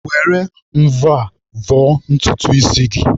Were mvọ a vọọ ntutu isi gị.